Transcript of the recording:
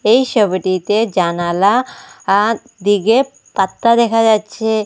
এই সবিটিতে জানালা আ দিকে পাত্তা দেখা যাচ্ছে।